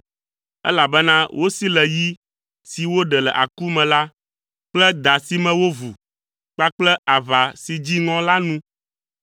elabena wosi le yi si woɖe le aku me la kple da si me wovu kpakple aʋa si dzi ŋɔ la nu.